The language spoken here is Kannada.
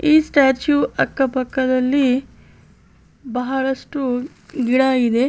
ಈ ಸ್ಟೇಚು ಅಕ್ಕ ಪಕ್ಕದಲ್ಲಿ ಬಹಳಷ್ಟು ಗಿಡ ಇದೆ .